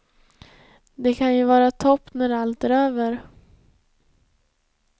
Det kan ju vara topp när allt är över.